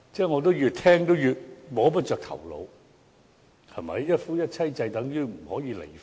我越聽越摸不着頭腦，一夫一妻制便等於不能離婚？